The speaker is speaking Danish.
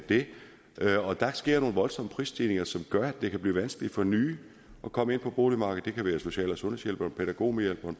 det og der sker nogle voldsomme prisstigninger som gør at det kan blive vanskeligt for nye at komme ind på boligmarkedet det kan være social og sundhedshjælperen pædagogmedhjælperen